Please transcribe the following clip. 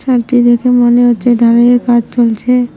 ছাদটি দেখে মনে হচ্ছে ঢালাইয়ের কাজ চলছে।